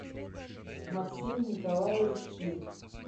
максим николаевич ким